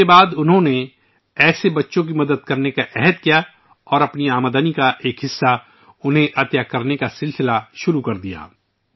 اس کے بعد ، انہوں نے ایسے بچوں کی مدد کرنے کا عزم کیا اور اپنی کمائی کا ایک حصہ ، انہیں عطیہ کرنا شروع کردیا